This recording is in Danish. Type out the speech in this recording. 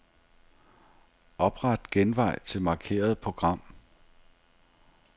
Opret genvej til markerede program.